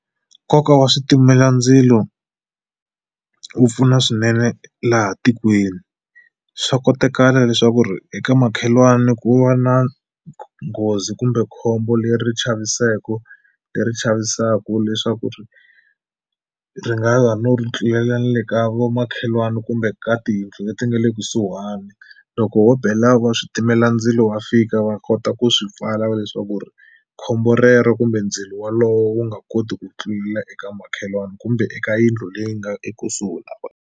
Nkoka wa switimelandzilo wu pfuna swinene laha tikweni swa kotekala leswaku ri eka makhelwani ku va na nghozi kumbe khombo leri chavisako leri chavisaku leswaku ri ri nga ala no ri tlulela ni le ka vomakhelwani kumbe ka tiyindlu leti nga le kusuhani loko ho bela wa switimelandzilo wa fika va kota ku swi pfala leswaku ri khombo rero kumbe ndzilo walowo wu nga koti ku tlulela eka makhelwani kumbe eka yindlu leyi nga ekusuhi na .